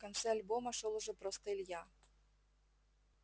в конце альбома шёл уже просто илья